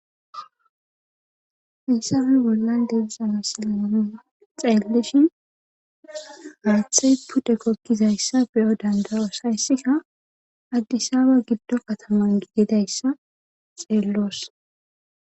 Issafe bollan deizamisilaan xeellishin maathey pude kokkizayssa beyo dandarosayssika addisaabe giddo kataman gigidayssa xeelloos.